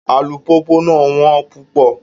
Alupupu náà wón pupọ